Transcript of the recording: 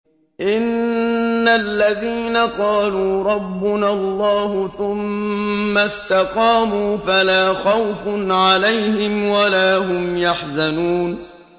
إِنَّ الَّذِينَ قَالُوا رَبُّنَا اللَّهُ ثُمَّ اسْتَقَامُوا فَلَا خَوْفٌ عَلَيْهِمْ وَلَا هُمْ يَحْزَنُونَ